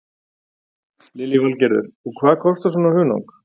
Lillý Valgerður: Og hvað kostar svona hunang?